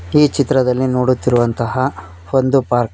ಈ ಚಿತ್ರದಲ್ಲಿ ನೋಡುತ್ತಿರುವಂತಹ ಒಂದು ಪಾರ್ಕ್ .